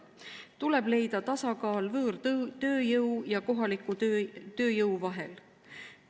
Tuleb leida tasakaal võõrtööjõu ja kohaliku tööjõu vahel.